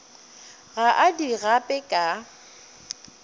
ga a di gape ka